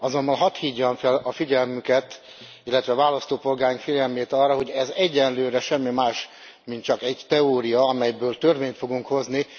Azonban hadd hívjam fel a figyelmüket, illetve a választópolgáraink figyelmét arra, hogy ez egyelőre semmi más, csak egy teória, amelyről törvényt fogunk hozni.